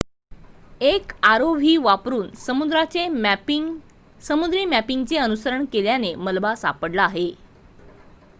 एक rov वापरून समुद्री मॅपिंगचे अनुसरण केल्याने मलबा सापडला आहे